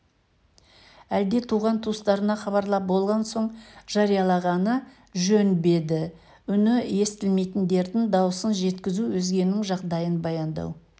әлде туған-туыстарына хабарлап болған соң жариялағаны жөн бе еді үні естілмейтіндердің дауысын жеткізу өзгенің жағдайын баяндау